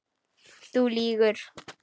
Þú lýgur.